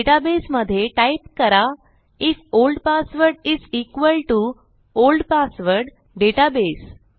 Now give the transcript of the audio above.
database मध्ये type करा if old password is equal to old password database